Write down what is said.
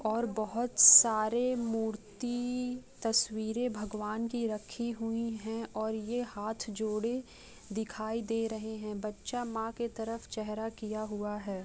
और बहुत सारे मूर्ति-इ-इ तस्वीरे भगवान की रखी हुई है। और यह हाथ जोड़े दिखाई दे रहा हैं। बच्चा मां के तरफ चेहरा किया हुआ है।